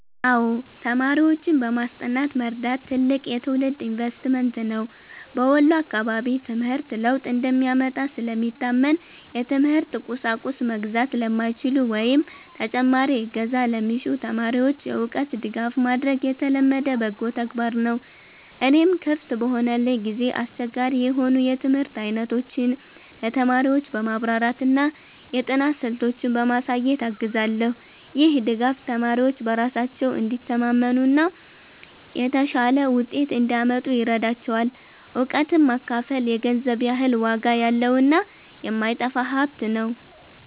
አዎ፣ ተማሪዎችን በማስጠናት መርዳት ትልቅ የትውልድ ኢንቨስትመንት ነው። በወሎ አካባቢ ትምህርት ለውጥ እንደሚያመጣ ስለሚታመን፣ የትምህርት ቁሳቁስ መግዛት ለማይችሉ ወይም ተጨማሪ እገዛ ለሚሹ ተማሪዎች የእውቀት ድጋፍ ማድረግ የተለመደ በጎ ተግባር ነው። እኔም ክፍት በሆነልኝ ጊዜ አስቸጋሪ የሆኑ የትምህርት አይነቶችን ለተማሪዎች በማብራራትና የጥናት ስልቶችን በማሳየት አግዛለሁ። ይህ ድጋፍ ተማሪዎች በራሳቸው እንዲተማመኑና የተሻለ ውጤት እንዲያመጡ ይረዳቸዋል። እውቀትን ማካፈል የገንዘብ ያህል ዋጋ ያለውና የማይጠፋ ሀብት ነው።